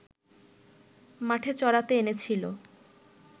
মাঠে চরাতে এনেছিল